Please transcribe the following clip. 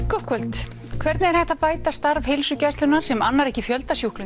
gott kvöld hvernig er hægt að bæta starf heilsugæslunnar sem annar ekki fjölda